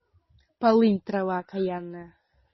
полынь трава окаянная